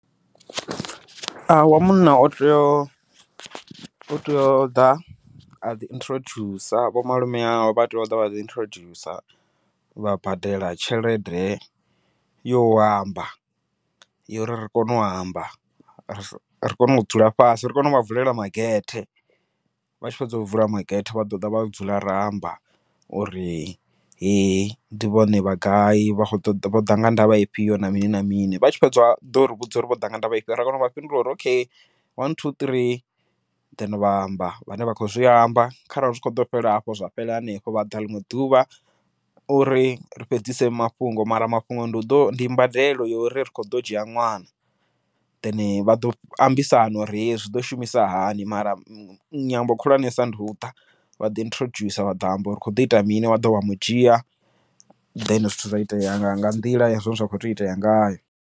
wa munna u tea u tea u ḓa a ḓi introduce vho malume awe, vha tea u ḓa vha ḓi introduce vha badela tshelede yo u amba yo uri ri kone u amba, ri kone u dzula fhasi ri kone uvha vulela magethe vha tshi fhedza u vula magethe, vha ḓoḓa vha dzula ra amba uri he ndi vhone vha gai vha khou ṱoḓa vhoḓa nga ndavha ifhio na mini na mini vha tshi fhedza u ḓo ri vhudza uri vhoḓa nga ndavha ifhio ra kana vha fhindula uri okay one, two, tree then vha amba vhane vha khou zwi amba. Kharali zwi kho ḓo fhela hafho zwa fhela hanefho vha ḓa ḽiṅwe ḓuvha uri ri fhedzise mafhungo, mara mafhungo ndi u ḓo ndi mbadelo yori ri kho ḓo dzhia ṅwana, then vha ḓo ambisana uri zwiḓo shumisa hani mara nyambo khulwanesa ndi uḓa vha ḓi introduce vha ḓo amba uri kho ḓo ita mini vha ḓa vha mu dzhia then zwithu zwa itea nga nga nḓila yane zwa kho tea u itea ngayo.